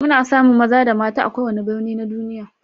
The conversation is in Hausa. Muna samun maza da mata a kowane birni na duniya.